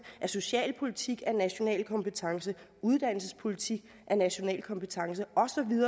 at socialpolitikken er national kompetence at uddannelsespolitikken er national kompetence